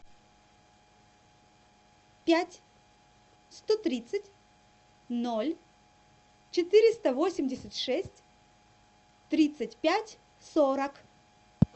пять сто тридцать ноль четыреста восемьдесят шесть тридцать пять сорок